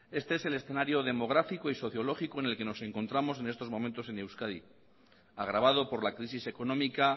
este es el escenario demográfico y sociológico en el que nos encontramos en estos momento en euskadi agravado por la crisis económica